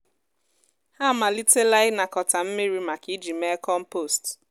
ha amalitela ịnakọta mmiri maka iji mee kọmpost.